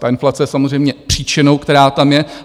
Ta inflace je samozřejmě příčinou, která tam je.